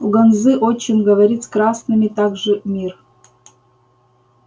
у ганзы отчим говорит с красными все так же мир